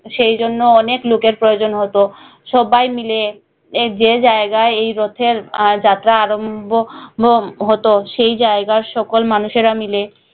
সেই জন্য অনেক লোকের প্রয়োজন হতো সব্বাই মিলে যে জায়গায় এই রথের আহ যাত্রা আরম্ভ ভোব হতো সেই জায়গার সকল মানুষেরা মিলে